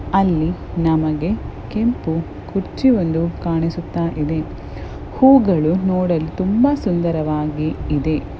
ಅಲ್ಲಿ ನಮಗೆ ಕೆಂಪು ಕುರ್ಚಿಯೊಂದು ಕಾಣಿಸುತ್ತಾ ಇದೆ ಹೂವುಗಳು ನೋಡಲು ತುಂಬಾ ಸುಂದರವಾಗಿ ಇದೆ.